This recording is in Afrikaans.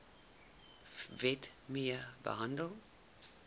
wet mee gehandel